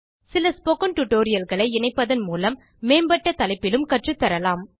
சில ஸ்போக்கன் tutorialகளை இணைப்பதன் மூலம் மேம்பட்டத் தலைப்பிலும் கற்றுத் தரலாம்